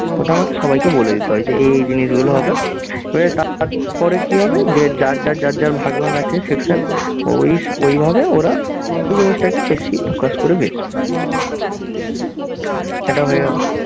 ওটা আমাকে সবাইকে বলে দিতে হয় যে এ এ জিনিসগুলো হবে। এবারে তারপরে কী হবে যে যার যার যার যার ভাগ ভাগ আছে section ওই ওইভাবে ওরা ওই জিনিসটাকে বেশি focus করে বেঁচবে। এটা হয়ে গেল।